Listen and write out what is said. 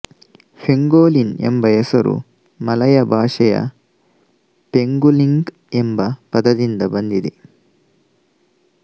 pangolin ಎಂಬ ಹೆಸರು Malay ಭಾಶೆಯ ಪೆಂಗ್ಗುಲಿಂಗ್ ಎಂಬ ಪದದಿಂದ ಬಂದಿದೆ